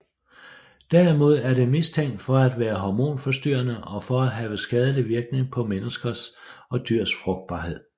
Derimod er det mistænkt for at være hormonforstyrrende og for at have skadelig virkning på menneskers og dyrs frugtbarhed